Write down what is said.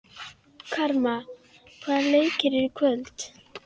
Hún skefur ekki einu sinni snjóinn af rúðunum!